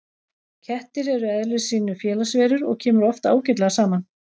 Kettir eru í eðli sínu félagsverur og kemur oft ágætlega saman.